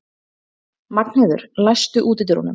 Magnheiður, læstu útidyrunum.